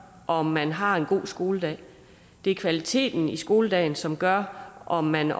om man har en god skoledag det er kvaliteten i skoledagen som gør om man